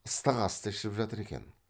ыстық асты ішіп жатыр екен